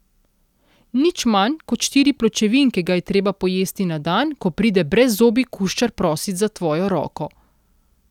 Nič manj kot štiri pločevinke ga je treba pojesti na dan, ko pride brezzobi kuščar prosit za tvojo roko.